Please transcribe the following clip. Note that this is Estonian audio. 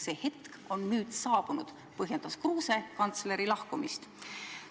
"See hetk on nüüd saabunud," põhjendas Kruuse kantsleri lahkumist.